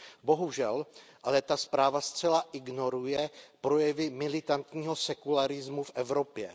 Bohužel ale ta zpráva zcela ignoruje projevy militantního sekularismu v Evropě.